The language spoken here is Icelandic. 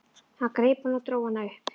Hann greip hann og dró hann upp.